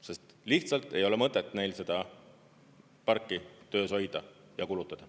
Sest lihtsalt ei ole mõtet neil seda parki töös hoida ja kulutada.